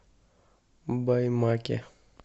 баймаке